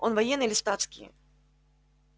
он военный или статский